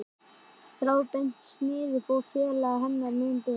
Þráðbeint sniðið fór félaga hennar mun betur.